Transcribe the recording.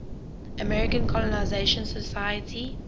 american colonization society